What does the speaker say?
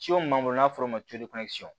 Ciw b'an bolo n'a bɛ fɔ o ma ko